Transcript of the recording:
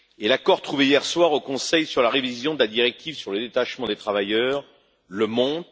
L'accord trouvé hier soir au Conseil sur la révision de la directive sur le détachement des travailleurs le montre.